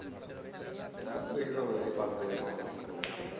আমার বেশি নাই পাঁচ বিঘা এইরকম আছে জমি